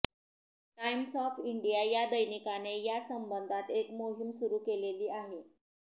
Times of India या दैनिकाने या संबंधात एक मोहीम सुरू केलेली आहे